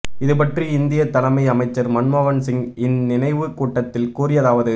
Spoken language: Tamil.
இது பற்றி இந்திய தலைமை அமைச்சர் மன்மோகன் சிங் இந்நினைவு கூட்டத்தில் கூறியதாவது